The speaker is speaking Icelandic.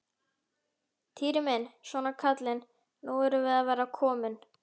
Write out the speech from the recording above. Týri minn, svona kallinn, nú erum við að verða komin.